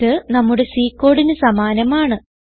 ഇത് നമ്മുടെ C കോഡിന് സമാനമാണ്